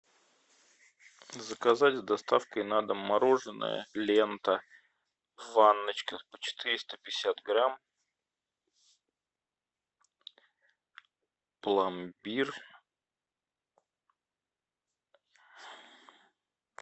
заказать с доставкой на дом мороженое лента в ванночках по четыреста пятьдесят грамм пломбир